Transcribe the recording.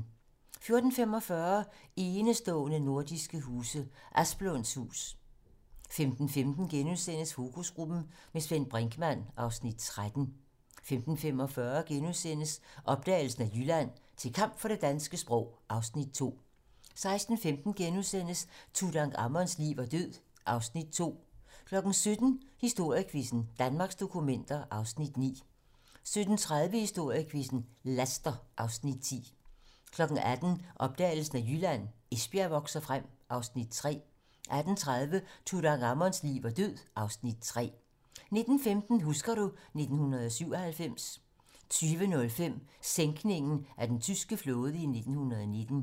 14:45: Enestående nordiske huse - Asplund's hus 15:15: Fokusgruppen - med Svend Brinkmann (Afs. 13)* 15:45: Opdagelsen af Jylland: Til kamp for det danske sprog (Afs. 2)* 16:15: Tutankhamons liv og død (Afs. 2)* 17:00: Historiequizzen: Danmarks dokumenter (Afs. 9) 17:30: Historiequizzen: Laster (Afs. 10) 18:00: Opdagelsen af Jylland: Esbjerg vokser frem (Afs. 3) 18:30: Tutankhamons liv og død (Afs. 3) 19:15: Husker du ... 1997 20:05: Sænkningen af den tyske flåde i 1919